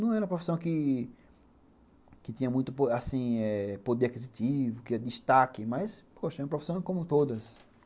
Não era uma profissão que que tinha muito, assim, poder aquisitivo, que ia destaque, mas, poxa, era uma profissão como todas.